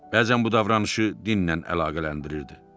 Bəzən bu davranışı dinlə əlaqələndirirdi.